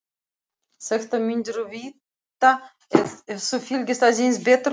Þetta myndirðu vita ef þú fylgdist aðeins betur með.